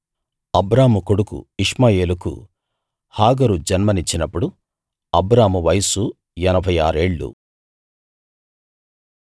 అబ్రాము కొడుకు ఇష్మాయేలుకు హాగరు జన్మనిచ్చినప్పుడు అబ్రాము వయస్సు ఎనభై ఆరేళ్ళు